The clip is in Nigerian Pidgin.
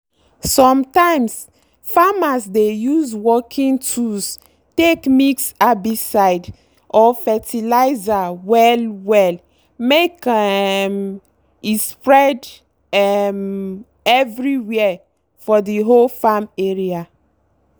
sometimes farmers dey use working tools take mix herbicide or fertilizer well-well make um e spread um everywere for the whole farm area.